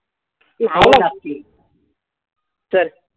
हां. नक्की चल.